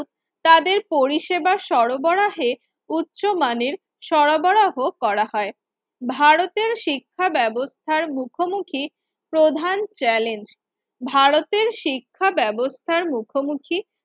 তাদের পরিসেবা সরবরাহের উচ্চমানের সরবরাহ করা হয়। ভারতের শিক্ষা ব্যবস্থার মুখোমুখি প্রধান চ্যালেঞ্জ ভারতের শিক্ষা ব্যবস্থার মুখোমুখি